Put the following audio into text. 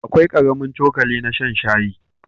Akwai ƙaramin cokali na shan shayi.